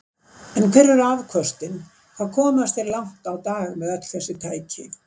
En hver eru afköstin, hvað komast þeir langt á dag með öll þessi tæki?